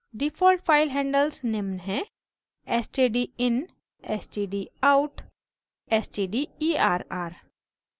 default file handles निम्न हैं: